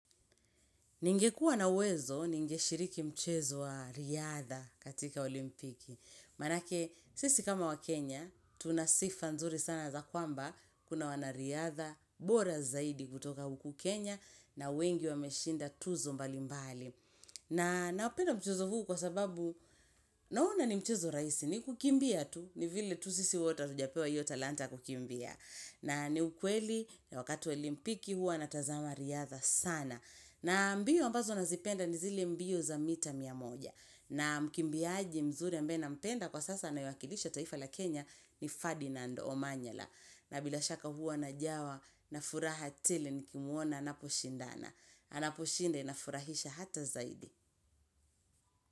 Ningekua na uwezo, ningeshiriki mchezo wa riadha katika olimpiki. Manake, sisi kama wakenya, tunasifa nzuri sana za kwamba kuna wana riadha, bora zaidi kutoka huku Kenya na wengi wameshinda tuzo mbali mbali. Na naupenda mchezo huu kwa sababu, naona ni mchezo rahisi, ni kukimbia tu, ni vile tu sisi wote hatujapewa hiyo talanta kukimbia. Na ni ukweli, wakati wa olimpiki hua natazama riadha sana. Na mbio ambazo nazipenda ni zile mbio za mita mita moja. Na mkimbiaji mzuri ambaye nampenda kwa sasa anayewakilisha taifa la Kenya ni Ferdinand Omanyala. Na bila shaka huwa najawa na furaha tele nikimuona anapo shindana. Anaposhinda na furahisha hata zaidi.